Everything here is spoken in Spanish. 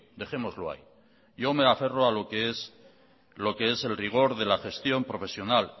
dejémoslo ahí yo me aferro a lo que es el rigor de la gestión profesional